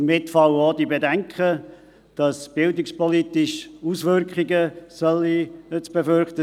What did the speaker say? Damit fallen auch die Bedenken weg, bildungspolitisch seien Auswirkungen zu befürchten.